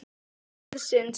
Og það er styrkur liðsins